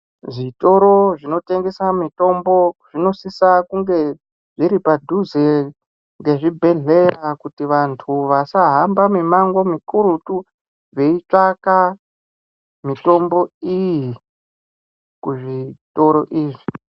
Zvitoro zvinotengesa mitombo zvinosisa kunge zviri padhuze nezvibhohlera kuti vantu vasahamba mimango mikurutu veitsavaka mitombo iyi kuzvitoro izvi.